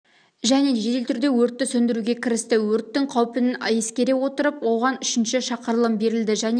және жедел түрде өртті сөндіруге кірісті өрттің қауіпін ескере отырып оған үшінші шақырылым берілді және